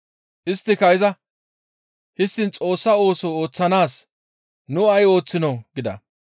Isttika izas, «Histtiin Xoossa ooso ooththanaas nu ay ooththinoo?» gida.